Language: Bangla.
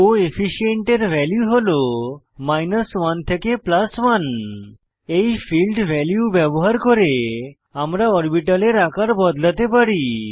কোফিশিয়েন্ট এর ভ্যালু হল 100 থেকে 100 এই ফীল্ড ভ্যালু ব্যবহার করে আমরা অরবিটালের আকার বদলাতে পারি